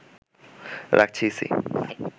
রাখছে ইসি